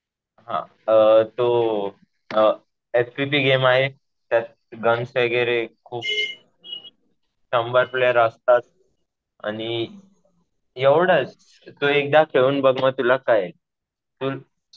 हा. तो आहे. त्यात गन्स वगैरे खूप शंभर प्लेयर असतात आणि एवढंच. तू एकदा खेळून बघ मग तुला कळेल. तू